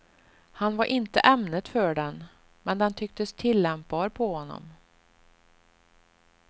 Han var inte ämnet för den, men den tycktes tillämpbar på honom.